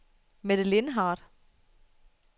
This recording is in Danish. Mette Lindhardt